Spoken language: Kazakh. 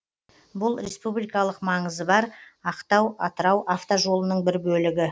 бұл республикалық маңызы бар ақтау атырау автожолының бір бөлігі